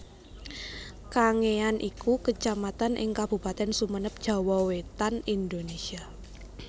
Kangean iku Kecamatan ing Kabupatèn Sumenep Jawa Wétan Indonesia